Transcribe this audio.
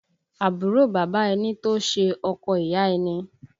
Àbúrò bàbá ẹni tó ṣe ọkọ ìyá ẹni